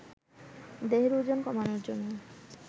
দেহের ওজন কমানোর জন্য